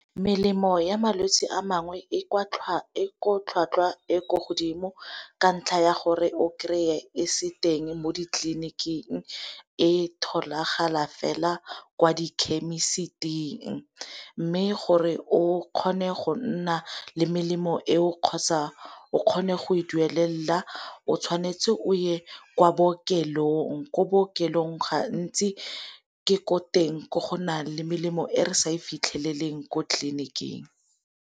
Melemo ya malwetsi a mangwe e tlhwatlhwa e ko godimo ka ntlha ya gore o kry-e e se teng mo di tleliniking e tholagala fela kwa di khemisiting. Mme gore o kgone go nna le melemo e o kgotsa o kgone go e duelela o tshwanetse o ye kwa bookelong ko bookelong gantsi ke gore teng ko gona le melemo e re sa e fitlheleleng ko tleliniking.